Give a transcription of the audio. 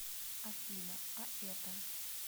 афина а это